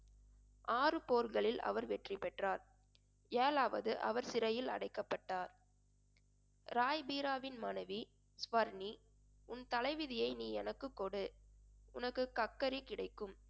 ஆறு போர்களில் அவர் வெற்றி பெற்றார். ஏழாவது அவர் சிறையில் அடைக்கப்பட்டார் ராய் பீராவின் மனைவி சுவர்னீ உன் தலைவிதியை நீ எனக்கு கொடு உனக்கு கக்கரி கிடைக்கும்